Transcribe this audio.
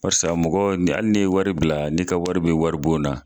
Baarisa mɔgɔ ni hali ni ye wari bila, nii ka wari bɛ wari bon na.